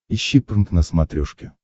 ищи прнк на смотрешке